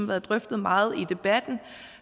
været drøftet meget i debatten